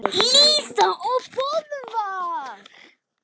Lísa og Böðvar.